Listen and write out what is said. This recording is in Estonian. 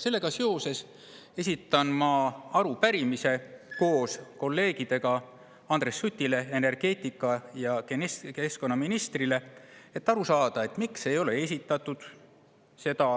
Seetõttu esitan ma koos kolleegidega arupärimise Andres Sutile, energeetika‑ ja keskkonnaministrile, et aru saada, miks ei ole esitatud seda